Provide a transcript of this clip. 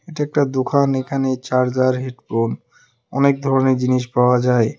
এটা একটা দোকান এখানে চার্জার হেডফোন অনেক ধরনের জিনিস পাওয়া যায় ।